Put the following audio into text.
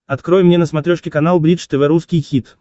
открой мне на смотрешке канал бридж тв русский хит